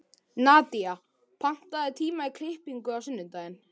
Nadía, pantaðu tíma í klippingu á sunnudaginn.